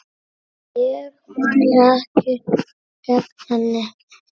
Ég mæli ekki gegn henni.